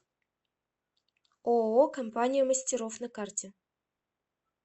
ооо компания мастеров на карте